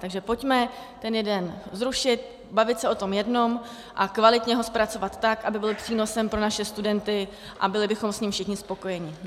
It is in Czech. Takže pojďme ten jeden zrušit, bavit se o tom jednom a kvalitně ho zpracovat tak, aby byl přínosem pro naše studenty a byli bychom s ním všichni spokojeni.